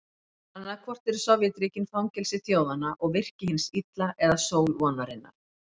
Annaðhvort eru Sovétríkin fangelsi þjóðanna og virki hins illa eða sól vonarinnar.